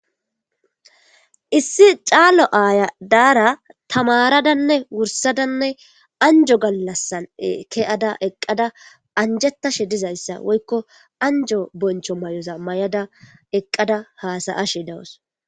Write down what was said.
issi caalo aaya daara tamaradanne wursadanne anjo gallassan keyada eqqada anjetashe dizayssa woykko anjo boncho may7oza may7ada eqqada haasayashe dawos